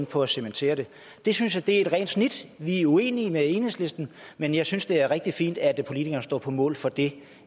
på at cementere det det synes jeg er et rent snit vi er uenige med enhedslisten men jeg synes det er rigtig fint at politikerne står på mål for det